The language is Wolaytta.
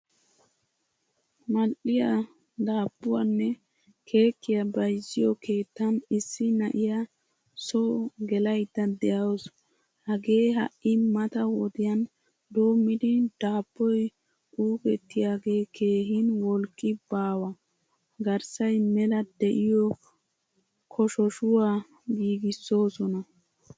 Mal'iyaa daabuwanne keekkiyaa bayzziyo keettan issi na'iyaa so gelayda deawusu. Hagee ha'i mata wodiyan doommidi dabboy ukkettiyage keehin wolqqi baawa. Garssay mela de'iyo koshoshuwaa giigisosona.